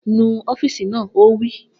Nu ọ́fììsì náà! Ó wí